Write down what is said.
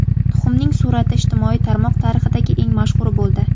Tuxumning surati ijtimoiy tarmoq tarixidagi eng mashhuri bo‘ldi.